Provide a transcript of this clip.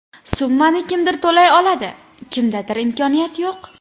Summani kimdir to‘lay oladi, kimdadir imkoniyat yo‘q.